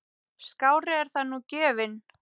Skárri er það nú gjöfin!